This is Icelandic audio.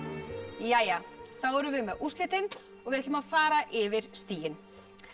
þá erum við með úrslitin og við ætlum að fara yfir stigin